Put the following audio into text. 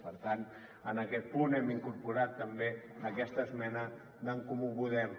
per tant en aquest punt hem incorporat també aquesta esmena d’en comú podem